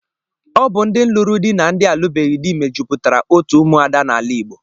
Ọ bụ ndị lụrụ di na ndị alubeghi dị mejupụtara otu ụmụada n'ala Igbo.